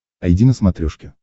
айди на смотрешке